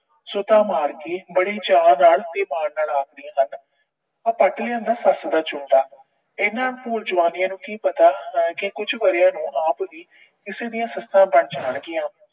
ਮਾਰ ਕੇ ਬੜੇ ਚਾਅ ਨਾਲ ਤੇ ਮਾਣ ਨਾਲ ਆਖਦੀਆਂ ਹਨ- ਆਹ ਪੱਟ ਲਿਆਂਦਾ ਸੱਸ ਦਾ ਜੂੜਾ, ਇਹਨਾਂ ਭੂੰਡ ਜੁਆਨੀਆਂ ਨੂੰ ਕੀ ਪਤਾ ਕਿ ਕੁਝ ਵਰ੍ਹਿਆਂ ਨੂੰ ਆਪ ਹੀ ਕਿਸੇ ਦੀਆਂ ਸੱਸਾਂ ਬਣ ਜਾਣਗੀਆਂ।